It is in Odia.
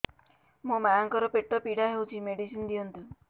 ମୋ ମାଆଙ୍କର ପେଟ ପୀଡା ହଉଛି ମେଡିସିନ ଦିଅନ୍ତୁ